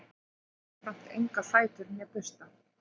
þeir hafa jafnframt enga fætur né bursta